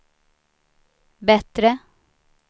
bättre